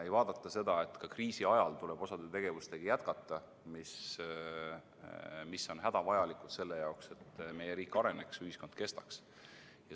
Ei vaadata seda, et ka kriisi ajal tuleb jätkata tegevustega, mis on hädavajalikud selle jaoks, et meie riik areneks, ühiskond kestaks.